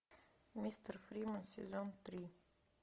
мистер фримен сезон три